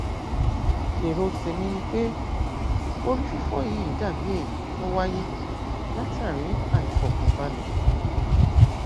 èrò tèmi ni pé orí fífọ yìí dàbí èyí tó wáyé látàrí àìfọkànbalẹ